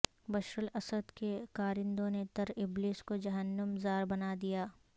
بشر الاسد کے کارندوں نے طرابلس کو جہنم زار بنا دیا